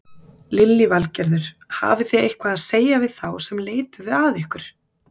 Lillý Valgerður: Hafið þið eitthvað að segja við þá sem leituðu að ykkur?